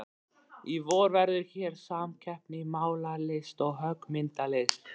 Í vor verður hér samkeppni í málaralist og höggmyndalist.